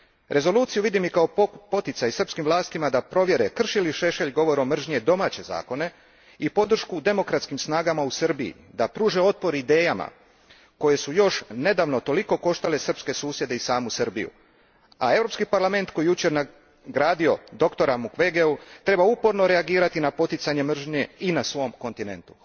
Rezoluciju vidim i kao poticaj srpskim vlastima da provjere krši li Šešelj govorom mržnje domaće zakone i podršku demokratskim snagama u Srbiji da pruže otpor idejama koje su još nedavno toliko koštale srpske susjede i samu Srbiju, a Europski parlament koji je jučer nagradio doktora Mukwegea treba uporno reagirati na poticanje mržnje i na svom kontinentu.